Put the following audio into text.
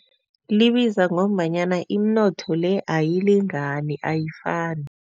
Libiza ngombanyana iminotho le ayilingani, ayifani.